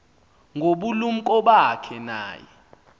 ngobulumko bakhe naye